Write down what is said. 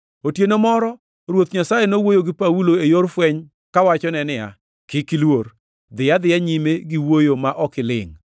Otieno moro Ruoth Nyasaye nowuoyo gi Paulo e yor fweny kawachone niya, “Kik iluor. Dhi adhiya nyime gi wuoyo ma ok ilingʼ.